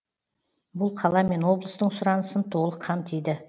бұл қала мен облыстың сұранысын толық қамтиды